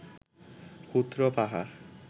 ক্ষুদ্র পাহাড়